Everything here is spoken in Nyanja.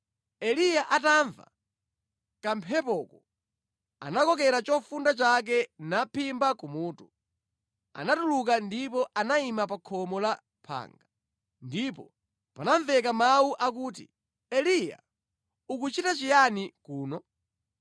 Eliya atamva kamphepoko, anakokera chovala chake naphimba kumutu. Anatuluka ndipo anayima pa khomo la phanga. Ndipo panamveka mawu akuti, “Eliya, ukuchita chiyani kuno?”